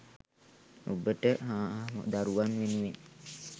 ඔබට හා දරුවන් වෙනුවෙන්